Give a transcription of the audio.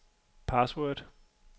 password